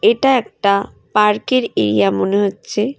এটা একটা পার্কের এরিয়া মনে হচ্ছে।